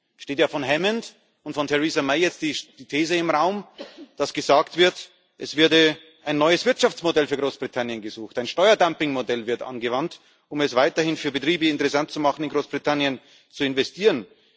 Es steht ja von Hammond und Theresa May jetzt die These im Raum, dass gesagt wird, es werde ein neues Wirtschaftsmodell für Großbritannien gesucht, ein Steuerdumpingmodell wird angewandt, um es weiterhin für Betriebe interessant zu machen, in Großbritannien zu investieren.